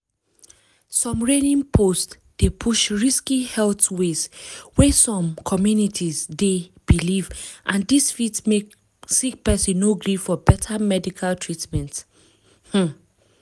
some reigning post dey spread risky health ways wey some communities dey believe and dis fit make sick person no gree for beta medical treatment um